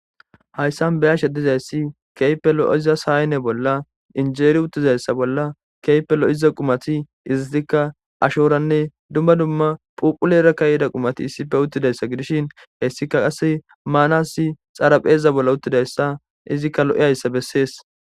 Haysan be'ashe dizaysi kehippe lo'iza sane bola injeri utidi kehippe lo'iza adho qumati ashorane dumma dumma phuphuleraka yiday qumati issi bola utidaysa gidishin hesika xaraphe bola utidaysa izika lo'izaysa beses